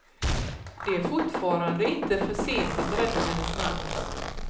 Det är fortfarande inte för sent att rädda hennes namn.